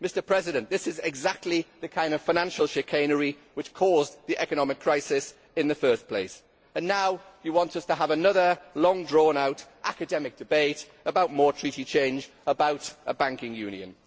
Mr President, this is exactly the kind of financial chicanery which caused the economic crisis in the first place, and now you want us to have another long drawn out academic debate about more Treaty change, about a banking union.